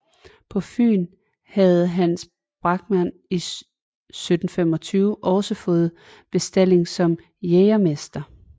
På Fyn havde Hans Bachmann 1725 også fået bestalling som jægermester